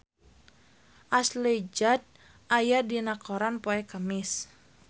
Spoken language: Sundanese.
Ashley Judd aya dina koran poe Kemis